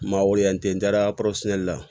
N ma weele yan ten n taara kɔrɔsinali la